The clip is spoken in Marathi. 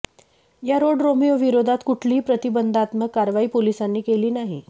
या रोड रोमिओविरोधात कुठलीही प्रतीबंधात्त्मक कारवाई पोलिसांनी केली नाही